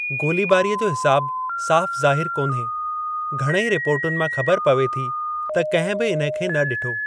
गोलीबारीअ जो हिसाब साफ़ ज़ाहिर कोन्हे, घणई रिपोर्टुनि मां ख़बर पवे थी त कंहिं बि इन्हे खे न ॾिठो।